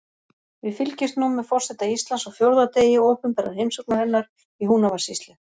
Við fylgjumst nú með forseta Íslands á fjórða degi opinberrar heimsóknar hennar í Húnavatnssýslu.